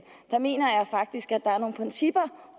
jeg mener faktisk at der er nogle principper